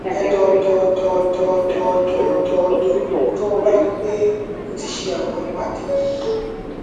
èdòdòdòdòdòdòdò tó o bá rí i pé o ti ṣe àwọn ìwádìí yìí